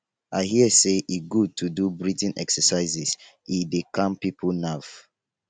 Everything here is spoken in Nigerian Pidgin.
i hear sey e good to do breathing exercises e dey calm pipo nerve.